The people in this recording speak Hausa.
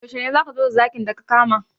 Yaushe ne za ka zo da zakin da ka kama?